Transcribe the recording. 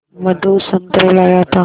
मधु संतरे लाया था